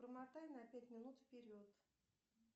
промотай на пять минут вперед